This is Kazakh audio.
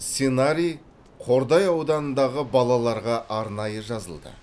сценарий қордай ауданындағы балаларға арнайы жазылды